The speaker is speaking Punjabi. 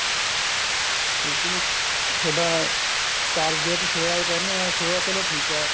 ਲੇਕਿਨ ਥੋਡਾ ਘਰ ਜਦ soya ਕਹਿੰਦੇ ਹਾਂ soya ਚਲ ਠੀਕ ਐ